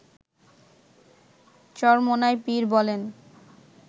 চরমোনাই পীর বলেন